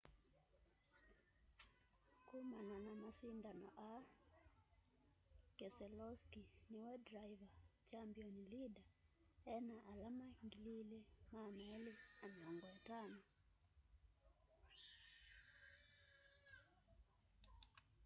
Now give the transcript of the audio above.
kũmana na masindano aa keselowski niwe driver' champion leader ena alama 2,250